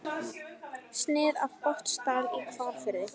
Snið af Botnsdal í Hvalfirði.